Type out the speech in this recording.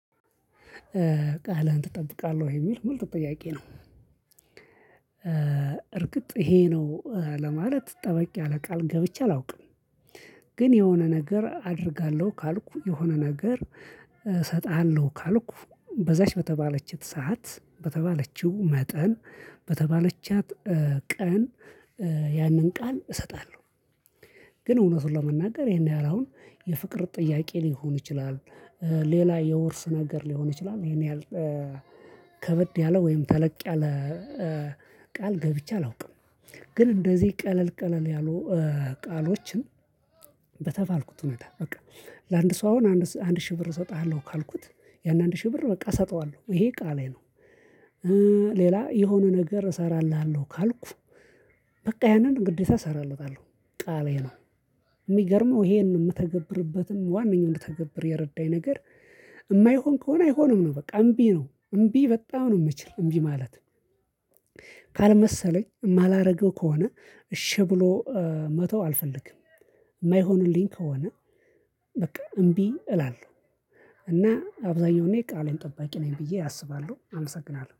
ቃልህን ትጠብቃለህ የሚል ምርጥ ጥያቄ ነው። እርግጥ ይሄ ነው ለማለት ጠበቅ ያለ ቃል ገብቼ አላውቅም። ግን የሆነ ነገር አደርጋለሁ ካልኩ የሆነ ነገር እሰጥሃለሁ ካልኩ በዛች በተባለችት ሰዓት በተባለችው መጠን በተባለቻት ቀን ያንን ቃል እሰጣለሁ። ግን እውነቱን ለመናገር ይሄን ያህል አሁን የፍቅር ጥያቄ ሊሆን ይችላል። ሌላ የውርስ ነገር ሊሆን ይችላል ይሄን ያህል። ከበድ ያለ ወይም ተለቅ ያለ ቃል ገብቼ አላውቅም። ግን እንደዚህ ቀለል ቀለል ያሉ። ቃሎችን በተባልኩት እውነታ በቃ ለአንድ ሰው አሁን አንድ ሺህ ብር እሰጥሃለሁ ካልኩት ያን አንድ ሺህ ብር በቃ እሰጠዋለሁ ይሄ ቃሌ ነው። ሌላ የሆነ ነገር እሰራልሃለው ካልኩ በቃ ያንን ግዴታ እሰራለታለሁ ቃሌ ነው። የሚገርመው ይሄንን የምተገብርበትም ዋናኛው እንድተገብር የረዳኝ ነገር። የማይሆን ከሆነ አይሆንም ነው በቃ እምቢ ነው እምቢ በጣም ነው የምችል እምቢ ማለት። ካልመሰለኝ የማላደርገው ከሆነ እሺ ብሎ መተው አልፈልግም። የማይሆንልኝ ከሆነ በቃ እምቢ እላለሁ። እና አብዛኛው እኔ ቃሌን ጠባቂ ነኝ ብዬ አስባለሁ አመሰግናለሁ